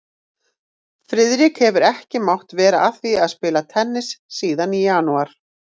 Friðrik hefur ekki mátt vera að því að spila tennis síðan í janúar